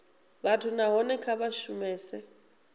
vhathu nahone kha vha shumese